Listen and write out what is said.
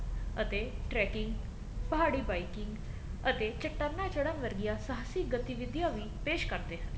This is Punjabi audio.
ਅਤੇ tracking ਪਹਾੜੀ biking ਅਤੇ ਚਟਾਨਾ ਚੜਨ ਵਰਗੀਆਂ ਸਾਹਸੀ ਗਤੀਵਿਧੀਆਂ ਵੀ ਪੈਸ਼ ਕਰਦੇ ਹਨ